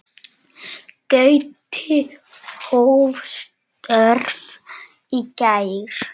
Gauti hóf störf í gær.